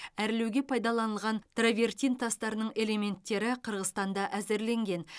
әрлеуге пайдаланылған травертин тастарының элементтері қырғызстанда әзірленген